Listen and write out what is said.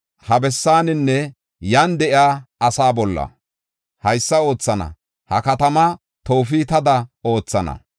Ha bessaaninne iyan de7iya asaa bolla haysa oothana. Ha katamaa Toofetada oothana.